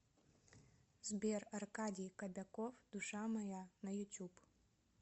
сбер аркадий кобяков душа моя на ютюб